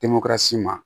ma